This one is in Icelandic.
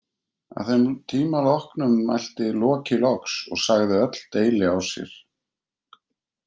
Að þeim tíma loknum mælti Loki loks og sagði öll deili á sér.